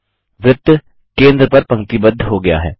वृत्त केंद्र पर पंक्तिबद्ध हो गया है